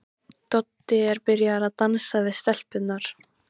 Doddi er byrjaður að dansa við stelpurnar.